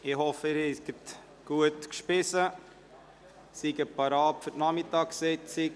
Ich hoffe, Sie haben gut gespeist und seien bereit für die Nachmittagssitzung.